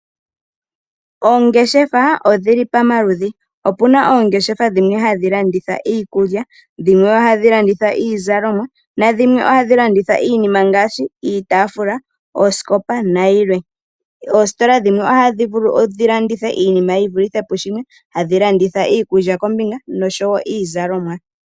Oongeshefa odhili pa maludhi. Opuna Oongeshefa dhimwe hadhi landitha iikulya, dhimwe ihadhi landitha iizalomwa, na dhimwe ohadhi landitha iinima ngaashi iitafula, oosikopa na yilwe. Oositola dhimwe ohadhi vulu dhi landithe iinima ti vulithe pu shimwe, hadhi landitha iikulya kombinga no sho woo iizalomwa.